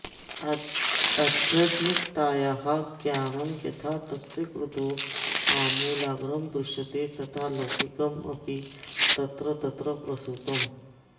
आध्यात्मिकतायाः ज्ञानं यथा तस्य कृतौ आमूलाग्रं दृश्यते तथा लौकिकमपि तत्र तत्र प्रसृतम्